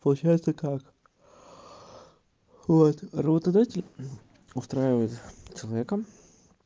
получается как вот работодатель устраивает человека